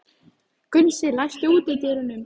Gunnsi, læstu útidyrunum.